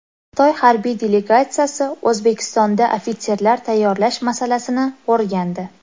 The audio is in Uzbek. Xitoy harbiy delegatsiyasi O‘zbekistonda ofitserlar tayyorlash masalasini o‘rgandi.